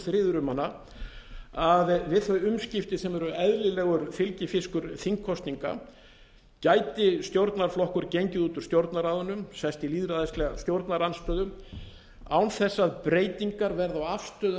friður um hana að við þau umskipti sem eru eðlilegur fylgifiskur þingkosninga gæti stjórnarflokkur gengið út úr stjórnarráðinu sest í lýðræðislega stjórnarandstöðu án þess að breytingar verði á afstöðu